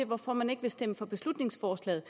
hvorfor man ikke vil stemme for beslutningsforslaget